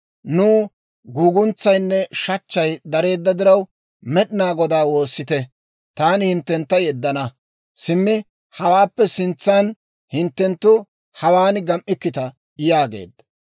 Nuw guuguntsaynne shachchay dareedda diraw, Med'inaa Godaa woossite. Taani hinttentta yeddana; simmi hawaappe sintsan hinttenttu hawaan gam"ikkita» yaageedda.